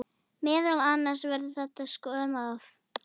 Meðal annars verður þetta skoðað